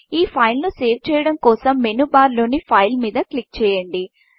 ఈ ఫైల్ను సేవ్ చేయడం కోసం మెనూబార్లోని Fileఫైల్ మీద క్లిక్ చేయండి